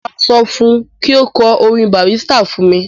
Mo máa sọ fún un kí ó kọ orin Bàrísítà fún mi.